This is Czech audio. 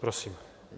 Prosím.